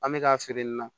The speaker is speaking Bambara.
An bɛ k'a feere nin na